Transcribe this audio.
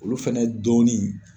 Olu fɛnɛ dɔɔnin